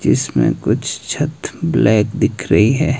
इसमें कुछ छत ब्लैक दिख रही है।